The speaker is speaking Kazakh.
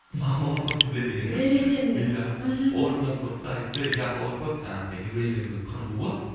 а холокосты біледі екен деп біледі екен деп иә мхм орнынан тұрды да айтты иә холокост жаңағы еврейлердің қырылуы